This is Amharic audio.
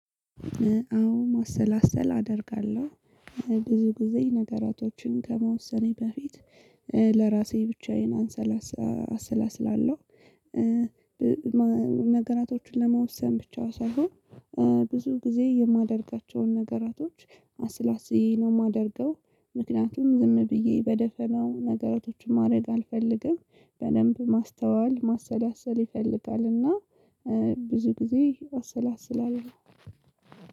አዎ ማሰላሰል አደርጋለሁ ብዙ ጊዜ ነገራቶችን ከመወሰኔ በፊት ለራሴ ብቻዬን አንሰላስላ አሰላስላለሁ። ነገራቶችን ለመወሰን ብቻ ሳይሆን ብዙ ጊዜ የማደርጋቸውን ነገራቶች አሰላስዬ ነው የማደርገው። ምክንያቱም ዝም ብዬ በደፈናው ነገሮችን ማድረግ አልፈልግም። በደንብ ማስተዋል ማሰላሰል ይፈልጋል እና ብዙ ጊዜ አሰላስላለሁ።